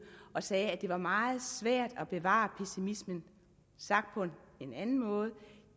og sagde at det var meget svært at bevare pessimismen sagt på en anden måde